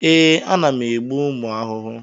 Ee, ana m egbu ụmụ ahụhụ.